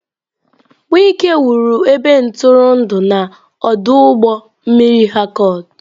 Wike wuru ebe ntụrụndụ na ọdụ ụgbọ mmiri Harcourt.